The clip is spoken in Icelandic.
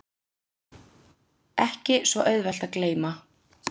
Ekki svo auðvelt að gleyma